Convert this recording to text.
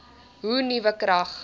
hoe nuwe krag